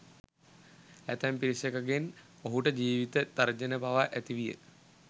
ඇතැම් පිරිසකගෙන් ඔහුට ජීවිත තර්ජන පවා ඇති විය